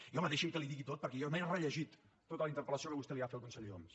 i home deixi’m que li ho digui tot perquè jo m’he rellegit tota la interpel·lació que vostè va fer al conseller homs